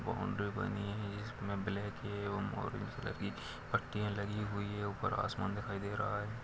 Boundary बनी है इसमें ब्लैक मैरून कलर की पट्टियाँ लगी हुई हैं ऊपर आसमान दिखाई दे रहा है।